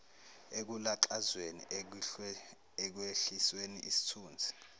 ekulaxazweni ekwehlisweni isithunzi